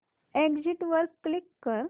exit वर click कर